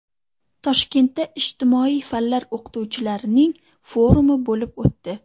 Toshkentda ijtimoiy fanlar o‘qituvchilarining forumi bo‘lib o‘tdi.